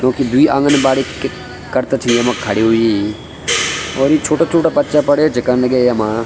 क्योकि द्वि आंगनबाड़ी कि करता छि यमा खड़ीं हुई और यू छोटा छोटा बच्चा पड़े च कण लग्याँ येमा।